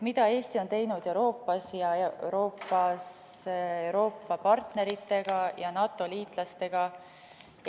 Mida Eesti on teinud Euroopas ja Euroopa partneritega ja NATO liitlastega?